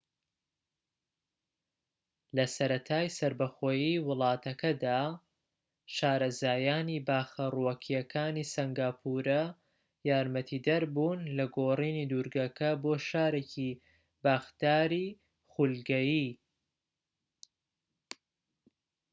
لە سەرەتای سەربەخۆیی وڵاتەکەدا شارەزایانی باخە ڕووەکیەکانی سەنگاپورە یارمەتیدەر بوون لە گۆڕینی دورگەکە بۆ شارێکی باخداری خولگەیی